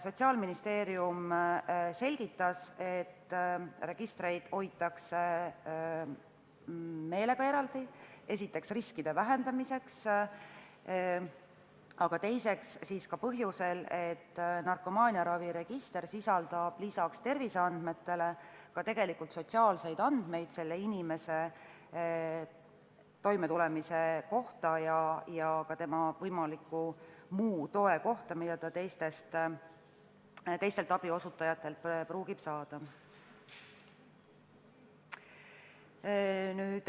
Sotsiaalministeeriumi esindaja selgitas, et registreid hoitakse meelega eraldi, esiteks riskide vähendamiseks, aga teiseks ka põhjusel, et narkomaaniaraviregister sisaldab peale terviseandmete ka sotsiaalseid andmeid inimese toimetuleku kohta ja ka tema võimaliku muu toe kohta, mida ta teistelt abiosutajatelt võib saada.